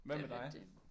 Hvad med dig